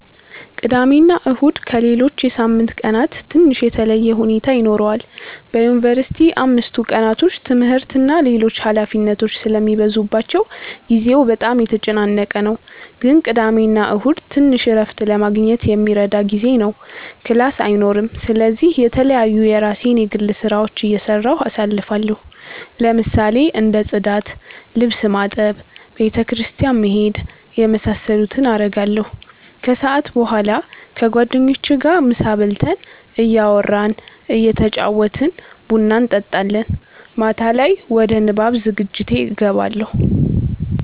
ቅዳሜና እሁድ ከሌሎች የሳምንት ቀናት ትንሽ የተለየ ሁኔታ ይኖረዋል በዩንቨርሲቲ አምስቱ ቀናቶች ትምህርት እና ሌሎች ኃላፊነቶች ስለሚበዙባቸው ጊዜው በጣም የተጨናነቀ ነው ግን ቅዳሜና እሁድ ትንሽ እረፍት ለማግኘት የሚረዳ ጊዜ ነው ክላስ አይኖርም ስለዚህ የተለያዩ የራሴን የግል ስራዎች እየሰራሁ አሳልፋለሁ ለምሳሌ እንደ ፅዳት፣ ልብስ ማጠብ፣ ቤተ ክርስቲያን መሄድ የመሳሰሉትን አረጋለሁ። ከሰዓት በኋላ ከጓደኞቼ ጋር ምሳ በልተን እያወራን እየተጫወትን ቡና እንጠጣለን። ማታ ላይ ወደ ንባብ ዝግጅቴ እገባለሁ።